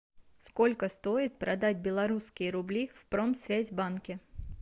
сколько стоит продать белорусские рубли в промсвязьбанке